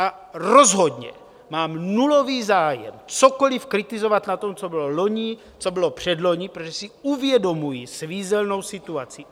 A rozhodně mám nulový zájem cokoliv kritizovat na tom, co bylo loni, co bylo předloni, protože si uvědomuji svízelnou situaci.